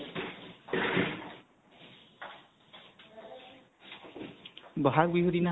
বহাগ বিহু দিনা